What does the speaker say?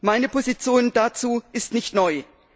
Meine Position dazu ist nicht neu.